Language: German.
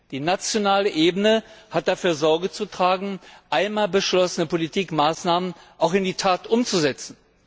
Die nationale Ebene hat dafür Sorge zu tragen, einmal beschlossene Politikmaßnahmen auch in die Tat umzusetzen.